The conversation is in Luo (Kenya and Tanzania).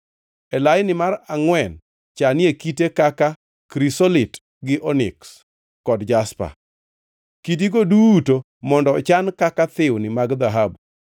e laini mar angʼwen chanie kite kaka krisolit gi oniks kod jaspa. Kidigo duto mondo ochan kaka thiwni mag dhahabu.